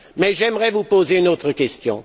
Mais j'aimerais vous poser une autre question.